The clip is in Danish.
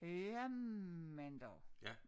Jamen dog